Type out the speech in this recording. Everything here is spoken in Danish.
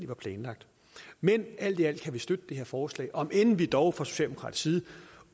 var planlagt men alt i alt kan vi støtte det her forslag om end vi dog fra socialdemokratisk side